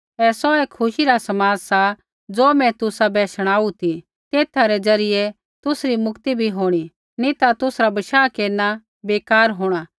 ऐ सौऐ खुशी रा समाद सा ज़ो मैं तुसा शुणाऊ ती तेथा रै ज़रियै तुसरी मुक्ति भी होंणी नी ता तुसरा बशाह केरना बेकार होंणा